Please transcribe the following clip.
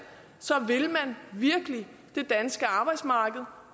vil man virkelig det danske arbejdsmarked